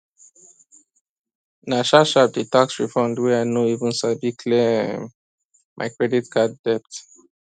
nah sharp sharp the tax refund wey i no even sabi clear um my credit card debt